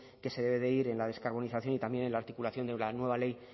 que se debe ir en la descarbonización y también en la articulación de una nueva ley